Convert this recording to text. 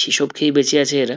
সেসব খেয়েই বেঁচে আছে এরা